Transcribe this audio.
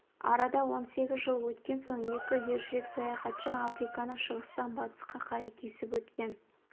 арада он сегіз жыл өткен соң екі ержүрек саяхатшы африканы шығыстан батысқа қарай кесіп өткен